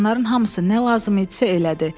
Oğlanların hamısı nə lazım idisə elədi.